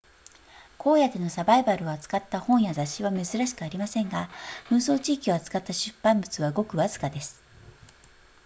荒野でのサバイバルを扱った本や雑誌は珍しくありませんが紛争地域を扱った出版物はごくわずかです